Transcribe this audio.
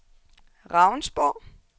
Ravnsborg